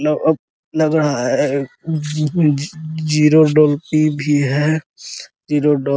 मतलब अब लग रहा है ज ज जीरो भी है | जीरो --